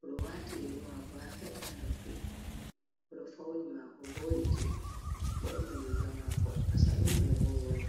o ɗo wati Yeri mako har tati ha noppi o ɗo fauni mako voditi borni riga mako ha salun mai bo o woni.